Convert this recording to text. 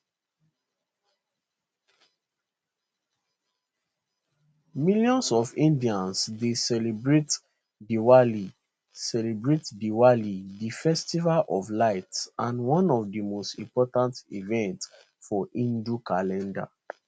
millions of indians dey celebrate diwali celebrate diwali di festival of lights and one of di most important events for hindu calendar